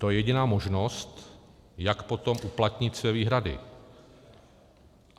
To je jediná možnost, jak potom uplatnit své výhrady.